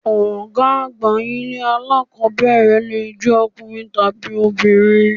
Ọ̀gá àgbà ilé alákọ̀ọ́bẹ̀rẹ̀ lè jẹ́ ọkùnrin tàbí obìnrin.